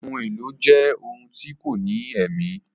Ohun èlò jẹ ohun tí kò ní èmí